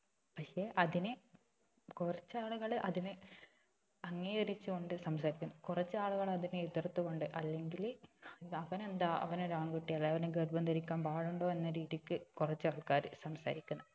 പക്ഷെ അതിനെ കുറച്ച് ആളുകള് അതിനെ അംഗീകരിച്ച് കൊണ്ട് സംസാരിക്കുന്നു കുറച്ച് ആളുകള് അതിനെ എതിർത്ത് കൊണ്ട് അല്ലങ്കില് അവനെന്താ അവൻ ഒരു ആൺകുട്ടിയല്ലേ അവന് ഗർഭം ധരിക്കാൻ പാടുണ്ടോ എന്ന രീതിക്ക് കുറച്ച് ആൾക്കാര് സംസാരിക്കുന്ന്